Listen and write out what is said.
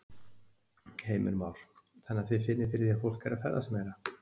Heimir Már: Þannig að þið finnið fyrir því að fólk er að ferðast meira?